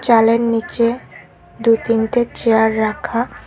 চালের নিচে দুই তিনটে চেয়ার রাখা।